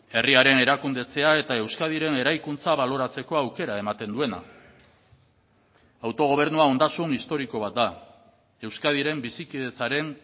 herriaren erakundetzea eta euskadiren eraikuntza baloratzeko aukera ematen duena autogobernua ondasun historiko bat da euskadiren bizikidetzaren